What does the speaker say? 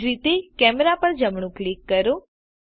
એજ રીતે કેમેરા પર જમણું ક્લિક કરો